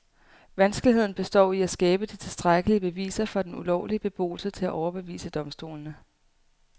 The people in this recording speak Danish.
Vanskeligheden består i at skabe de tilstrækkelige beviser for den ulovlige beboelse til at overbevise domstolene.